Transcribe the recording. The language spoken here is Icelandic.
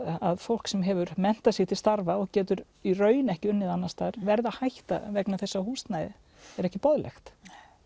að fólk sem hefur menntað sig til starfa og getur í raun ekki unnið annars staðar verða að hætta vegna þess að húsnæðið er ekki boðlegt